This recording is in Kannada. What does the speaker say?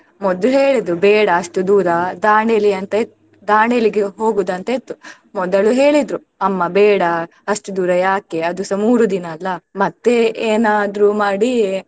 ಮೊದ್ಲು ಹೇಳಿದ್ರು ಬೇಡ ಅಷ್ಟು ದೂರ ದಾಂಡೇಲಿ ಅಂತ ಇತ್ತ್ ದಾಂಡೇಲಿಗೆ ಹೋಗುದಂತ ಇತ್ತು ಮೊದಲು ಹೇಳಿದ್ರು ಅಮ್ಮ ಬೇಡ ಅಷ್ಟು ದೂರ ಯಾಕೆ, ಅದೂಸ ಮೂರು ದಿನಾ ಅಲ್ಲ ಮತ್ತೆ ಏನಾದ್ರೂ ಮಾಡಿ.